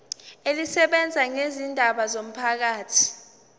elisebenza ngezindaba zomphakathi